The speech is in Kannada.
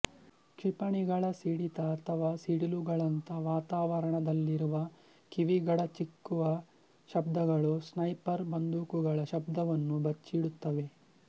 ಕ್ಷಿಪಣಿಗಳ ಸಿಡಿತ ಅಥವಾ ಸಿಡಿಲುಗಳಂಥ ವಾತಾವರಣದಲ್ಲಿರುವ ಕಿವಿಗಡಚಿಕ್ಕುವ ಶಬ್ದಗಳು ಸ್ನೈಪರ್ ಬಂದೂಕುಗಳ ಶಬ್ದವನ್ನು ಬಚ್ಚಿಡುತ್ತವೆ